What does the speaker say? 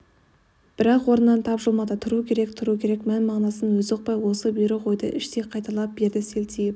бірақ орнынан тапжылмады тұру керек тұру керек мән-мағынасын өзі ұқпай осы бұйрық-ойды іштей қайталай берді селтиіп